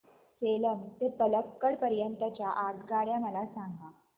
सेलम ते पल्लकड पर्यंत च्या आगगाड्या मला सांगा